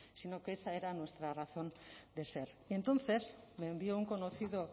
sino que esa era nuestra razón de ser y entonces me envió un conocido